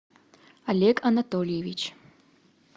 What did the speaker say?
олег анатольевич